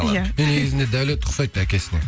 иә мен негізінде даулет ұқсайды әкесіне